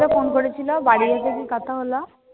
কে phone করেছিল, বাড়ি গিয়ে যেদিন কথা হল?